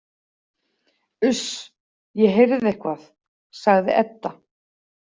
Uss, ég heyrði eitthvað, sagði Edda.